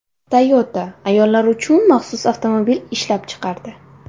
Toyota ayollar uchun maxsus avtomobil ishlab chiqardi.